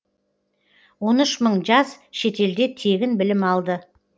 он үш мың жас шетелде тегін білім алды